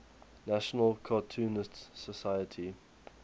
national cartoonists society